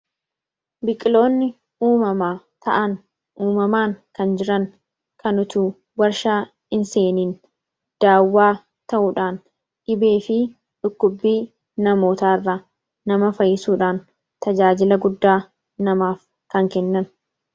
Biqiloonni uumamaa ta'an uumamaan kan jiran kan utu warshaa hinseeniin daawwaa ta'uudhaan dhibee fi dhukkubbii namoota irraa nama fayyisuudhaan tajaajila guddaa namaaf kan kennan.